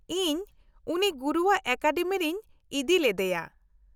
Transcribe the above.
ᱤᱧ ᱩᱱᱤ ᱜᱩᱨᱩᱣᱟᱜ ᱮᱠᱟᱰᱮᱢᱤ ᱨᱤᱧ ᱤᱫᱤ ᱞᱮᱫᱮᱭᱟ ᱾